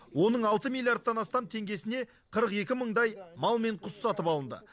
оның алты миллиардтан астам теңгесіне қырық екі мыңдай мал мен құс сатып алынды